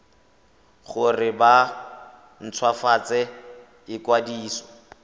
gore ba nt hwafatse ikwadiso